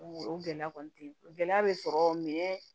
o gɛlɛya kɔni te gɛlɛya be sɔrɔ